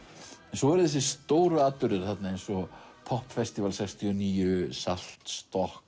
svo eru þessir stóru atburðir eins og sextíu og níu